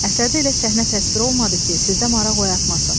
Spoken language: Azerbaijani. Əsərdə elə səhnə təsvir olunmadı ki, sizdə maraq oyatmasın.